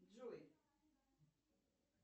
джой